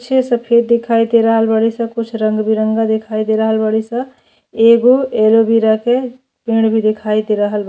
पीछे से पेड़ दिखाइ दे रहल बारी सन कुछ रंग बिरंगा दिखाई दे रहल बारी सन एगो अलवेरा के पेड़ भी दिखाइ दे रहल बा।